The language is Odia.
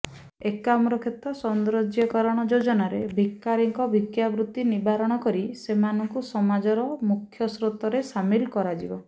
ଏକାମ୍ରକ୍ଷେତ୍ର ସୌନ୍ଦର୍ଯ୍ୟକରଣ ଯୋଜନାରେ ଭିକାରୀଙ୍କ ଭିକ୍ଷାବୃତ୍ତି ନିବାରଣ କରି ସେମାନଙ୍କୁ ସମାଜର ମୁଖ୍ୟସ୍ରୋତରେ ସାମିଲ କରାଯିବ